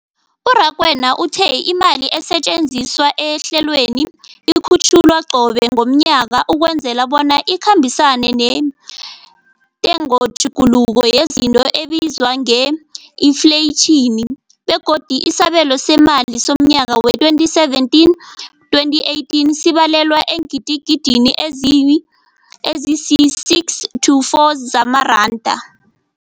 U-Rakwena uthe imali esetjenziswa ehlelweneli ikhutjhulwa qobe ngomnyaka ukwenzela bona ikhambisane nentengotjhuguluko yezinto ebizwa nge-infleyitjhini, begodu isabelo seemali somnyaka we-2017, 2018 sibalelwa eengidigidini ezisi-6.4 zamaranda.